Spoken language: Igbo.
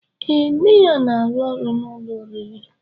Ee nne ya n'arụ ọrụ n'ụlọ oriri.